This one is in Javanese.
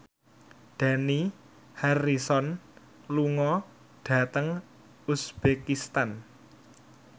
Dani Harrison lunga dhateng uzbekistan